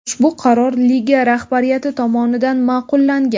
Ushbu qaror liga rahbariyati tomonidan ma’qullangan.